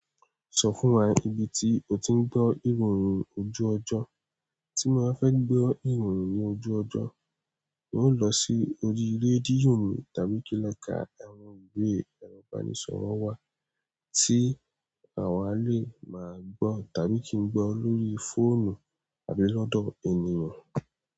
Sọ fún wa ibi tí o ti ń gbọ́ ìròyìn ojú ọjọ́. Tí mba fẹ́ gbọ́ ìròyìn ní ojú ọjọ́, n óò lọ sí orí rédíò mi tàbí kí n lọ ka ẹwọ̀n ìwé ẹrọ̀ ìbánisọ̀rọ̀ wa tí àwa lè máa gbọ́ tàbí kí n gbọ́ lóri fóònù àbí lọ́dọ̀ ènìyàn.